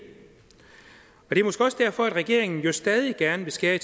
er måske også derfor at regeringen jo stadig gerne vil skære i